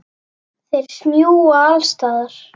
Þeir smjúga alls staðar.